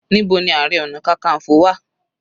Níbo ni ààrẹ ọna kankanfo wà?